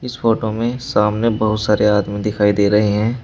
इस फोटो में सामने बहुत सारे आदमी दिखाई दे रहे हैं।